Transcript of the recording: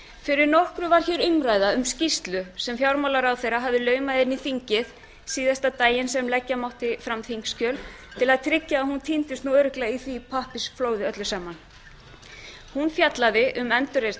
fyrir nokkru var hér umræða um skýrslu sem fjármálaráðherra hafði laumað inn í þingið síðasta daginn sem leggja mátti fram þingskjöl til að tryggja að hún týndist nú örugglega í því pappírsflóði öllu saman hún fjallaði um endurreisn